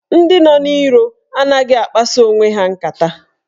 Ndị nọ n'iro anaghị akpasa onwe ha nkata.